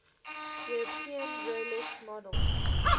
european roulette model